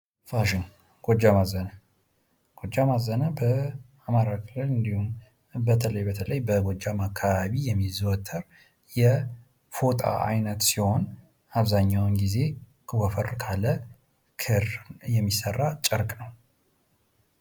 ፋሽን ጎጃም አዘነ ጎጃም አዘነ በአማራ ክልል እንዲሁም በተለይ በተለይ በጎጃም አካባቢ የሚዘወትር ይፎቆጣ አይነት ሲሆን አብዛኛውን ጊዜ ወፈር ካለ ክር የሚሰራ ጨርቅ ነው ::